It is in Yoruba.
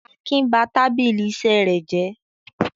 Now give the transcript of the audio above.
Akin ba tábìlì iṣẹ́ rẹ̀ jẹ́?